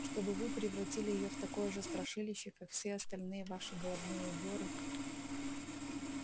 чтобы вы превратили её в такое же страшилище как все остальные ваши головные уборы